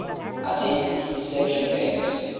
identity deception games